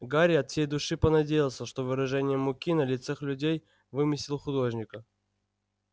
гарри от всей души понадеялся что выражение муки на лицах людей вымысел художника